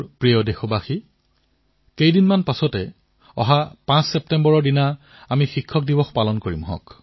মোৰ মৰমৰ দেশবাসীসকল কিছু দিনৰ পিছত পাঁচ ছেপ্টেম্বৰত আমি শিক্ষক দিৱস পালন কৰিম